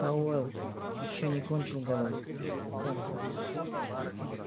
пауэлл ещё не кончил говорит как